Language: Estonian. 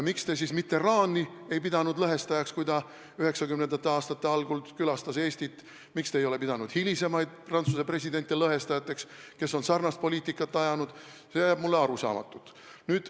Miks te siis Mitterrandi ei pidanud lõhestajaks, kui ta 1990. aastate algul külastas Eestit, miks te ei ole pidanud hilisemaid Prantsuse presidente lõhestajateks, kes on ajanud sarnast poliitikat, see jääb mulle arusaamatuks.